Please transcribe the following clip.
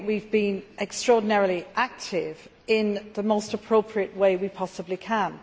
I think that we have been extraordinarily active in the most appropriate way we possibly can.